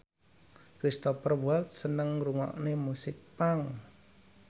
Cristhoper Waltz seneng ngrungokne musik punk